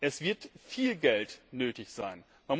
Es wird viel Geld nötig sein.